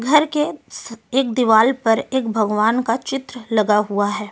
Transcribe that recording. घर के एक दीवाल पर एक भगवान का चित्र लगा हुआ है ।